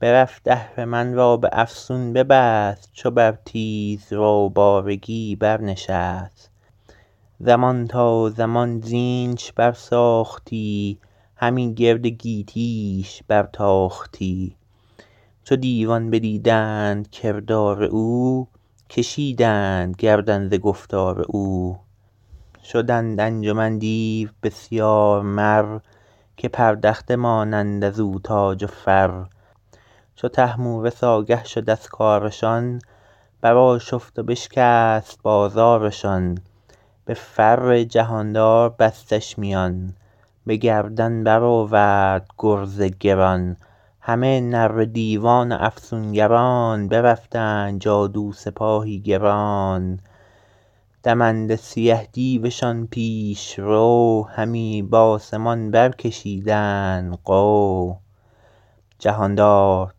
برفت اهرمن را به افسون ببست چو بر تیز رو بارگی بر نشست زمان تا زمان زینش بر ساختی همی گرد گیتی ش بر تاختی چو دیوان بدیدند کردار او کشیدند گردن ز گفتار او شدند انجمن دیو بسیار مر که پردخته مانند از او تاج و فر چو طهمورث آگه شد از کارشان بر آشفت و بشکست بازارشان به فر جهاندار بستش میان به گردن بر آورد گرز گران همه نره دیوان و افسونگران برفتند جادو سپاهی گران دمنده سیه دیوشان پیش رو همی بآسمان برکشیدند غو جهاندار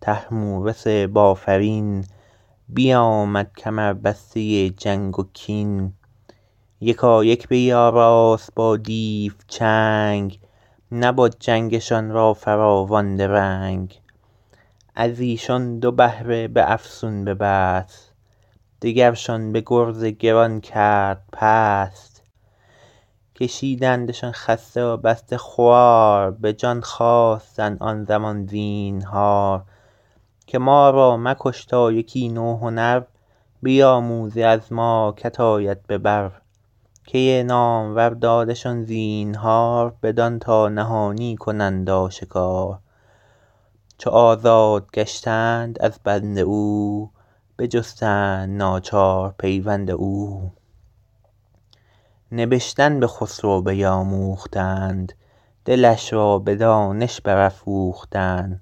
طهمورث بافرین بیامد کمربسته جنگ و کین یکایک بیاراست با دیو جنگ نبد جنگشان را فراوان درنگ از ایشان دو بهره به افسون ببست دگرشان به گرز گران کرد پست کشیدندشان خسته و بسته خوار به جان خواستند آن زمان زینهار که ما را مکش تا یکی نو هنر بیاموزی از ما که ت آید به بر کی نامور دادشان زینهار بدان تا نهانی کنند آشکار چو آزاد گشتند از بند او بجستند ناچار پیوند او نبشتن به خسرو بیاموختند دلش را به دانش برافروختند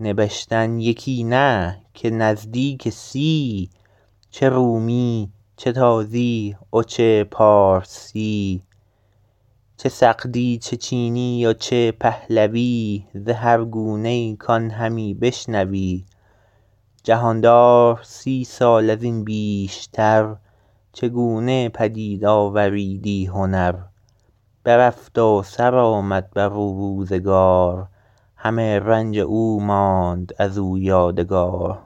نبشتن یکی نه که نزدیک سی چه رومی چه تازی و چه پارسی چه سغدی چه چینی و چه پهلوی ز هر گونه ای کان همی بشنوی جهاندار سی سال از این بیشتر چه گونه پدید آوریدی هنر برفت و سر آمد بر او روزگار همه رنج او ماند از او یادگار